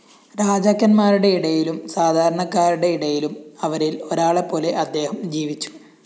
രാജാക്കന്മാരുടെ ഇടയിലും സാധാരണക്കാരുടെ ഇടയിലും അവരില്‍ ഒരാളെപ്പോലെ അദ്ദേഹം ജീവിച്ചു